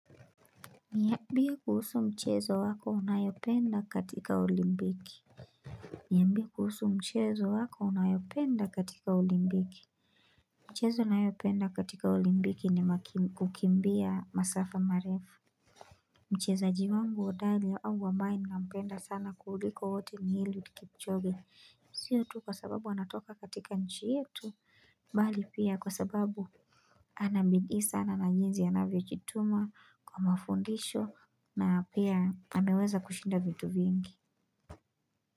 Niambie kuhusu mchezo wako unayopenda katika olimpiki. Niambie kuhusu mchezo wako unayopenda katika olimpiki. Mchezo nayopenda katika olimpiki ni kukimbia masafa marefu. Mchezaji wangu hodari au ambaye nina mpenda sana kuliko wote ni Eliud kipchoge. Siyo tu kwa sababu anatoka katika nchi yetu mbali pia kwa sababu ana bidii sana na jinzi anavyo jituma kwa mafundisho na pia anaweza kushinda vitu vingi.